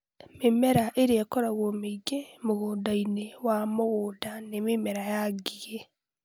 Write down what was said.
Mĩmera ĩrĩa ĩkoragwo mĩingĩ mũgũnda-inĩ wa mũgũnda nĩ mĩmera ya ngigĩ (Aphis gossypii).